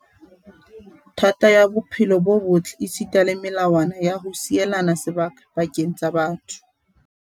thata ya bophelo bo botle esita le melawana ya ho sielana sebaka pakeng tsa batho.